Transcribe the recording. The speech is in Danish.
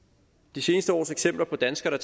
de seneste års eksempler på danskere der